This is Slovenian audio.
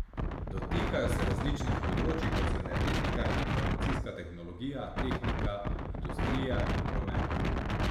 Dotikajo se različnih področij, kot so energetika, informacijska tehnologija, tehnika, industrija in promet.